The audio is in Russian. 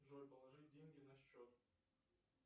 джой положи деньги на счет